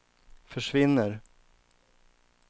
försvinner